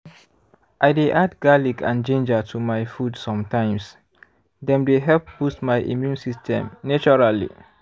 i dey add garlic and ginger to my food sometimes dem dey help boost my immune system naturally